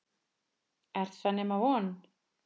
Er það nema von?